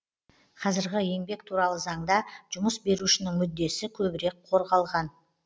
қазіргі еңбек туралы заңда жұмыс берушінің мүддесі көбірек қорғалған